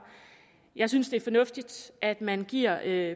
jeg synes det er fornuftigt at man giver